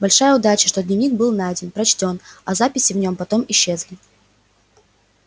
большая удача что дневник был найден прочтён а записи в нем потом исчезли